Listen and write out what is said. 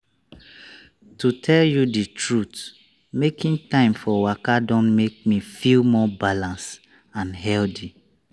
to tell you the truth making time for waka don make me feel more balanced and healthy.